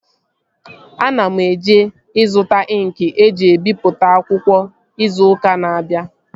Ana m eje ịzụta ịnkị eji ebipụta akwụkwọ izu ụka na-abịa